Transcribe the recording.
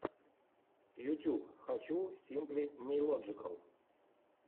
ютьюб хочу симпли нейлоджикал